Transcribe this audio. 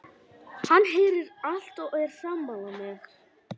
Hann heyrir allt og er sammála mér.